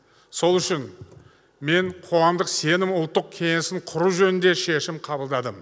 сол үшін мен қоғамдық сенім ұлттық кеңесін құру жөнінде шешім қабылдадым